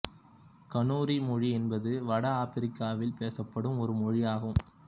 Kanuri மொழி என்பது வட ஆப்பிரிக்காவில் பேசப்படும் ஒரு மொழி ஆகும்